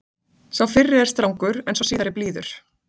sá fyrri er strangur en sá síðari blíður